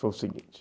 Foi o seguinte.